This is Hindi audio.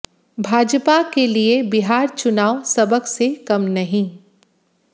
भाजपा के लिए बिहार चुनाव सबक से कम नहीं